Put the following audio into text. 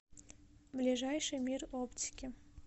ближайший мир оптики